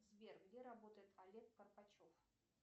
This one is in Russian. сбер где работает олег карпачев